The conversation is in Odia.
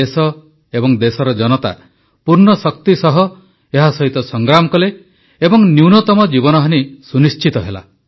ଦେଶ ଏବଂ ଦେଶର ଜନତା ପୂର୍ଣ୍ଣ ଶକ୍ତି ସହ ଏହା ସହିତ ସଂଗ୍ରାମ କଲେ ଏବଂ ନ୍ୟୁନତମ ଜୀବନହାନୀ ସୁନିଶ୍ଚିତ ହେଲା